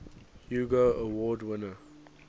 hugo award winner